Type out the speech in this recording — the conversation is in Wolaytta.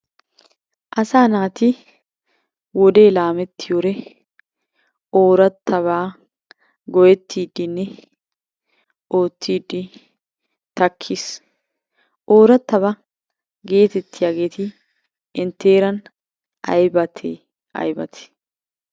Asaa naati wodee laamettiyode oorattabaa go'ettiidinne oottidi takkiis. Oorattabaa gettettiyageeti intte heeran aybbatte aybbate?